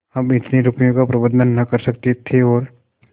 हम इतने रुपयों का प्रबंध न कर सकते थे और